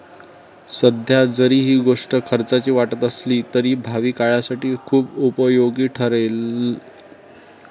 सध्या जरी ही गोष्ट खर्चाची वाटत असली तरी भावी काळासाठी खुप उपयोगी ठरेल.